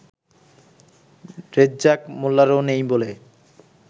রেজ্জাক মোল্লারও নেই বলে